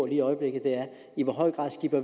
i øjeblikket er i hvor høj grad